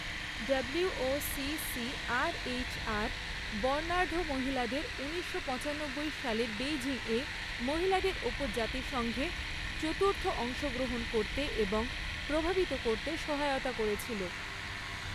ডব্লিউওসিসিআরএইচআর বর্ণাঢ্য মহিলাদের ঊনিশশো পচানব্বই সালের বেইজিংয়ে মহিলাদের ওপর জাতিসংঘে চতুর্থ অংশগ্রহণ করতে এবং প্রভাবিত করতে সহায়তা করেছিল।